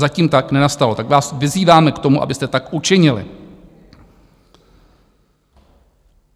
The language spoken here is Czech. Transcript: Zatím tak nenastalo, tak vás vyzýváme k tomu, abyste tak učinili.